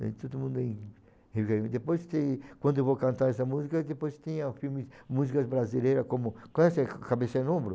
todo mundo em revivendo, depois tem... Quando eu vou cantar essa música, depois tem as filmes músicas brasileira como... Conhece ca cabeça no ombro?